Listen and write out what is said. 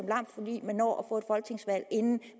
lam fordi man når at få et folketingsvalg inden